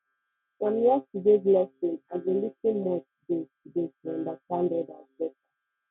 from yesterdays lesson i go lis ten more today today to understand others better